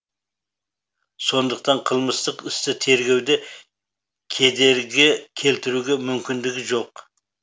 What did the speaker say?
сондықтан қылмыстық істі тергеуде кедергі келтіруге мүмкіндігі жоқ